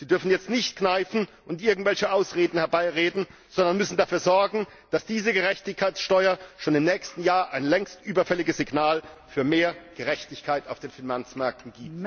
Sie dürfen jetzt nicht kneifen und irgendwelche Ausreden herbeireden, sondern müssen dafür sorgen, dass diese Gerechtigkeitssteuer schon im nächsten Jahr ein längst überfälliges Signal für mehr Gerechtigkeit auf den Finanzmärkten gibt.